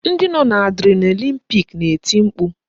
Ndị nọ n'Adrenaline pik na-eti mkpu